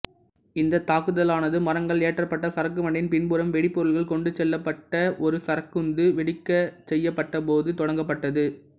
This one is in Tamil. இந்தத் தாக்குதலானது மரங்கள் ஏற்றப்பட்ட சரக்கு வண்டியின் பின்புறம் வெடிபொருள்கள் கொண்டு செல்லப்பட்ட ஒரு சரக்குந்து வெடிக்கச்செய்யப்பட்ட போது தொடங்கப்பட்டது